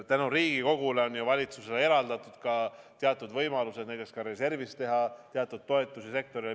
Tänu Riigikogule on valitsusele eraldatud ka võimalused näiteks reservist teha teatud toetusi sektorile.